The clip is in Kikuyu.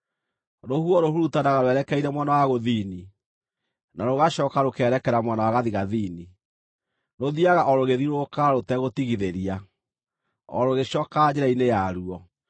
Rũhuho rũhurutanaga rwerekeire mwena wa gũthini, na rũgacooka rũkeerekera mwena wa gathigathini; rũthiiaga o rũgĩthiũrũrũkaga rũtegũtigithĩria, o rũgĩcookaga njĩra-inĩ yaruo.